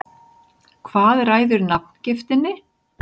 Hvað ræður nafngiftinni?